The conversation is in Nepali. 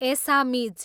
एसामिज